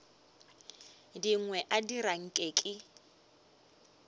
dingwe a dira nke ke